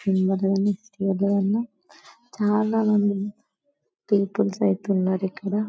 చాలామంది పీపుల్స్ అయితే ఉన్నారుఇక్కడ.